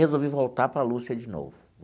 Resolvi voltar para Lúcia de novo.